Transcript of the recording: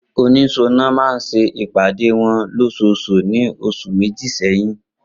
Oniṣọnà náà ṣe ìpàdé wọn lósosù ní ọ̀sẹ̀ méjì sẹ́yìn